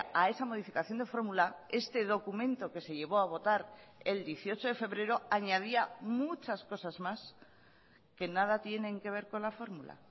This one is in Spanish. a esa modificación de fórmula este documento que se llevó a votar el dieciocho de febrero añadía muchas cosas más que nada tienen que ver con la fórmula